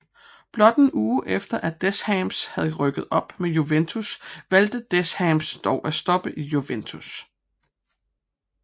Blot en uge efter at Deschamps havde rykket op med Juventus valgte Deschamps dog at stoppe i Juventus